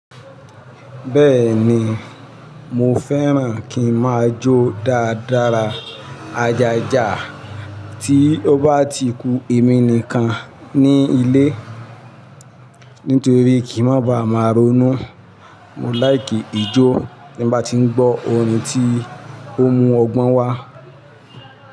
Bẹ́ẹ̀ni, mo fẹ́ràn kí n máa jó dáadára ajàjà tí ó bá ti ku èmi nìkan ní ilé, nítorí kí n má ba à máa ronú. Mo láì kí ijó tí mo bá ti ń gbọ́ orin tí ó mú ọgbọ́n wá.